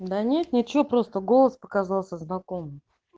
да нет ничего просто голос показался знакомым